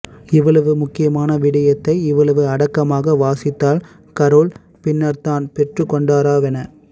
இவ்வளவு முக்கியமான விடயத்தை இவ்வளவு அடக்கமாக வாசித்ததால் கரோல்ட் பின்ரர்தான் பெற்றுக்கொன்டாராவெனச்